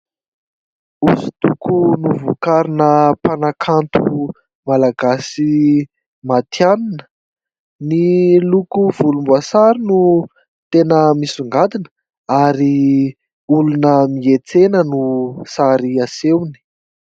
Hosodoko novokarina mpanakanto malagasy matianina. Ny loko volomboasary no tena misongadina ary olona miantsena no sary asehony.